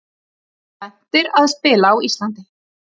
Spenntir að spila á Íslandi